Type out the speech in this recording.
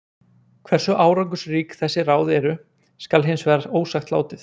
Hversu árangursrík þessi ráð eru skal hins vegar ósagt látið.